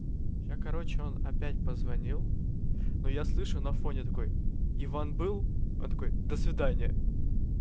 сейчас короче он опять позвонил но я слышу на фоне такой иван был он такой до свидания